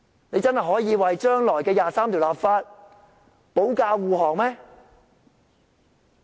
你們真的可以為將來就第二十三條立法保駕護航？